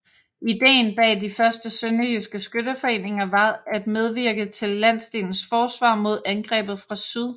Ideen bag de første sønderjyske skytteforeninger var at medvirke til landsdelens forsvar mod angreb fra syd